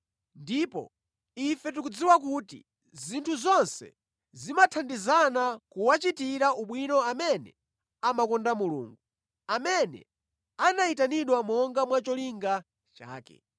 Ndipo ife tikudziwa kuti zinthu zonse zimathandizana kuwachitira ubwino amene amakonda Mulungu, amene anayitanidwa monga mwa cholinga chake.